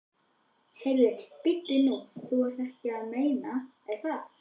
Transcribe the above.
Heyrðu, bíddu nú. þú ert ekki að meina. að þú?